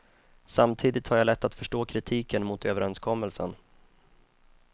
Samtidigt har jag lätt att förstå kritiken mot överenskommelsen.